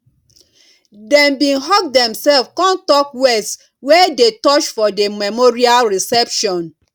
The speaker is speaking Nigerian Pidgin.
dem bin hug demselves con talk words wey dey touch for the memorial reception